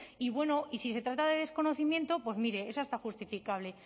y bueno y si se trata de desconocimiento pues mire es hasta justificable